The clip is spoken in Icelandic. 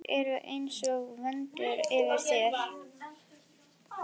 Þeir eru einsog vöndur yfir mér.